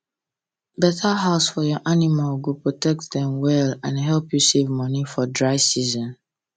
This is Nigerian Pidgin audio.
better house for your animal go protect dem wella and help u save money for dry season